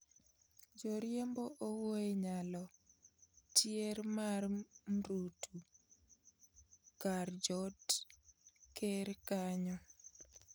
Jariembo owuoye nyalo tier mar mrutu kar jot ker kanyo